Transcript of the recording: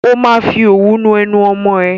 Ó máa fi òwú nu ẹnu ọmọ ẹ.